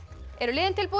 eru liðin tilbúin